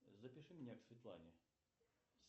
запиши меня к светлане